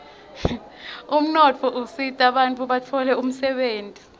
umnotfo usita bantfu batfole umdebenti